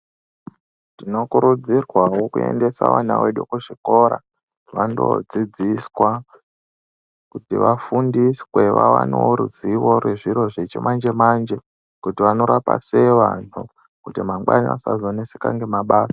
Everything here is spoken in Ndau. Tinokurudzirwawo kuendesa vana vedu kuzvikora vandoodzidziswa kuti vafundiswe vawanewo ruzivo rwechimanje manje kuti vanorapa sei vantu kuti mangwani vasazoneseka ngemabasa.